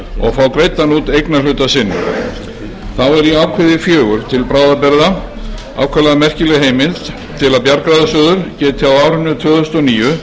og fá greiddan út eignarhluta sinn þá er í atriði fjórar til bráðabirgða ákaflega merkileg heimild til að bjargráðasjóður geti á árinu tvö þúsund og níu